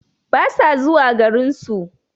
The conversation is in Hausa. Basa zuwa garinsu